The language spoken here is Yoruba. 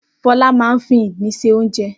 Fọlá máa ń fi ìgbín se oúnjẹ.